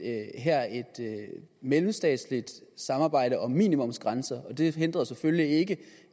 mellemstatsligt samarbejde om minimumsgrænser og det hindrer jo selvfølgelig ikke